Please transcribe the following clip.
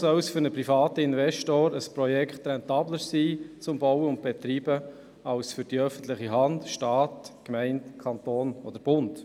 Weshalb soll ein Projekt im Bau und Unterhalt für einen privaten Investor rentabler sein als für die öffentliche Hand wie Staat, Gemeinde, Kanton oder Bund?